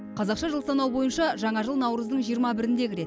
қазақша жыл санау бойынша жаңа жыл наурыздың жиырма бірінде кіреді